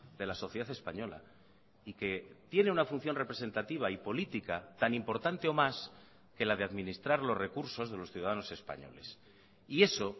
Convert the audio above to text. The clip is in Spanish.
de la sociedad española y que tiene una función representativa y política tan importante o más que la de administrar los recursos de los ciudadanos españoles y eso